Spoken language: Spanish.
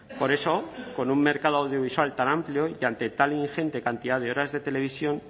por eso con un mercado audiovisual tan amplio y ante tal ingente cantidad de horas de televisión